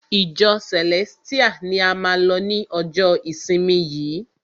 Ìjọ Celestial ni a máa lọ ni ọjọ ìsinmi yìí!